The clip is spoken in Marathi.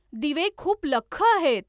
दिवे खूप लख्ख आहेत